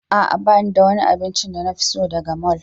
A'a ba ni da wani abincin da na fi so daga mall.